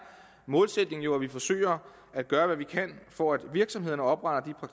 målsætningen jo at vi forsøger at gøre hvad vi kan for at virksomhederne opretter